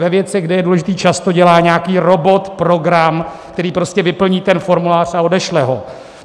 Ve věcech, kde je důležitý čas, to dělá nějaký robot, program, který prostě vyplní ten formulář a odešle ho.